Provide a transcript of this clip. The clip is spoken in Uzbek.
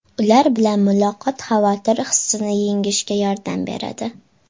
Ular bilan muloqot xavotir hissini yengishga yordam beradi.